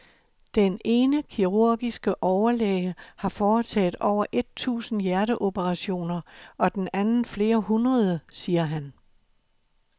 Den ene kirurgiske overlæge har foretaget over et tusind hjerteoperationer og den anden flere hundrede, siger han.